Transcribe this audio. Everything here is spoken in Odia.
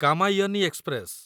କାମାୟନି ଏକ୍ସପ୍ରେସ